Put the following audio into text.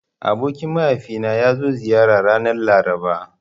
Abokin mahaifina ya zo ziyara ranar Laraba.